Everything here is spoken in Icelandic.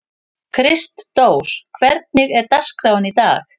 Kristdór, hvernig er dagskráin í dag?